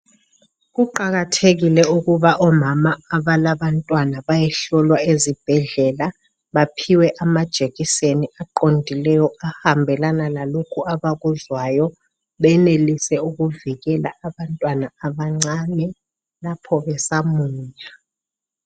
Kuqakathekile ukuba omama abalabantwana bayehlolwa ezibhedlela baphiwe amajekiseni aqondileyo ahambelana lalokhu abakuzwayo benelise ukuvikela abantwana abancane lapho besamunya